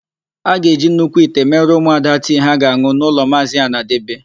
A ga-eji nnukwu ite mere ụmụada tii ha ga-an̄ụ n'ụlọ Maazị Anadebe.